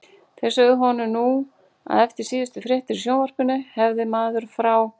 Þeir sögðu honum nú að eftir síðustu fréttir í sjónvarpinu hefði maður frá